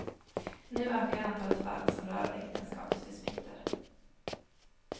Nu ökar antalet fall som rör äktenskapsdispyter.